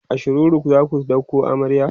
a shiroro zaku ɗauko amarya?